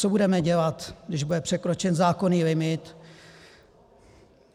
Co budeme dělat, když bude překročen zákonný limit?